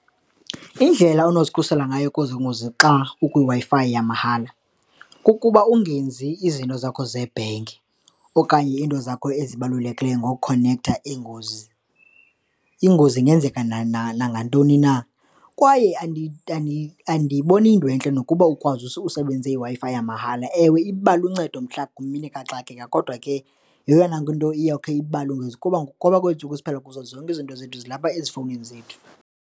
Indlela onozikhusela ngayo kwezoo ngozi xa ukwiWi-Fi yamahala kukuba ungenzi izinto zakho zebhenki okanye iinto zakho ezibalulekileyo ngokhonektha ingozi ingenzeka nangantoni na. Kwaye andiyiboni iyinto entle nokuba ukwazi usebenzisa iWi-Fi yamahala. Ewe, iba luncedo mhla, ngemini kaxakeka kodwa ke yeyona nto iyawukhe iba lungise kuba kwezi ntsuku siphila kuzo zonke izinto zethu zilapha ezifowunini zethu.